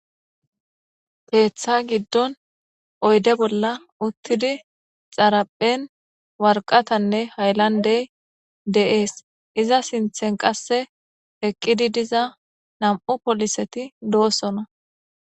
Keeththa giddon oyde bolla uttidi xaraphen warqatanne haylandey de7ees iza sinthen qasse eqqidi diza nam7u poliseti doosona